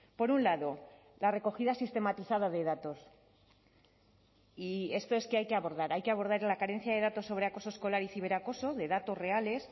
por un lado la recogida sistematizada de datos y esto es que hay que abordar hay que abordar la carencia de datos sobre acoso escolar y ciberacoso de datos reales